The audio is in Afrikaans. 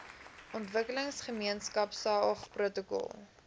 ontwikkelingsgemeenskap saog protokol